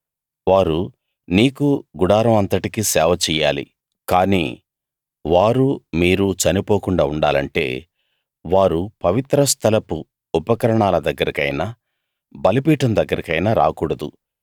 వారు నీకూ గుడారం అంతటికీ సేవ చెయ్యాలి కాని వారూ మీరూ చనిపోకుండా ఉండాలంటే వారు పవిత్ర స్థలపు ఉపకరణాల దగ్గరకైనా బలిపీఠం దగ్గరకైనా రాకూడదు